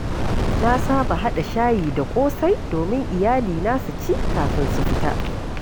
Na saba haɗa shayi da ƙosai domin iyalina su ci kafin su fita.